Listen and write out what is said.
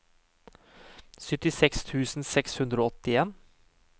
syttiseks tusen seks hundre og åttien